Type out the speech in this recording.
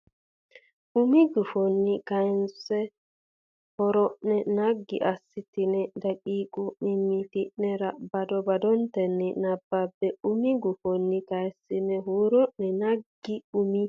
umi gufonni kayissine huuro ne naggi assitine daqiiqa mimmiti nera bado badotenni nabbabbe umi gufonni kayissine huuro ne naggi umi.